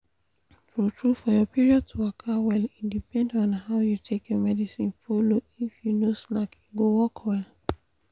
true-true for your period to waka well e depend on how you take your medicine follow if you no slack e go work well.